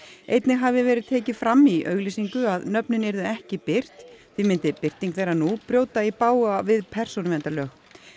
einnig hafi verið tekið fram í auglýsingu að nöfnin yrðu ekki birt því myndi birting þeirra nú brjóta í bágu við persónuverndarlög